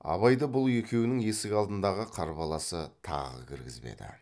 абайды бұл екеуінің есік алдындағы қарбаласы тағы кіргізбеді